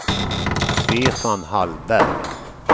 Stefan Hallberg